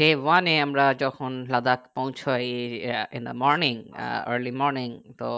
day one এ যখন আমরা লাদাখ পৌঁছায় ই আহ in the morning আহ early morning তো